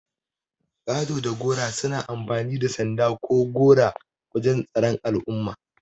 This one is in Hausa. Ƙato da gora suna amfani da sanda ko gora wajan tsaron al'umma.